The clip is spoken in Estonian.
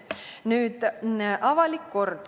Nüüd avalikust korrast.